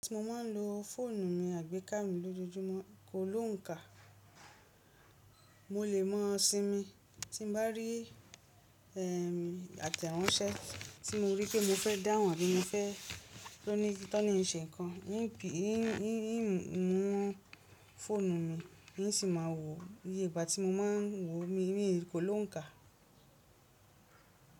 Tí mo máa ń lo fóònù mi àgbéká mi lójoojúmọ́, kò lóǹkà, mo lè mọ̀ ọ́n sin mi tí n bá rí ẹ, àtẹ̀ránsẹ́ tí mo rí pé mo fẹ́ dáhùn àbí mo fẹ́ tó ní, tó ní ṣe ǹkan, yín pè, yín, yín mú fọ́ònù mi yín sì máa wo, yé ìgbà tí mo máa ń wo mi, mí ìkolóǹka.